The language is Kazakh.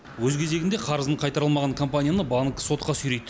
өз кезегінде қарызын қайтара алмаған компанияны банк сотқа сүйрейді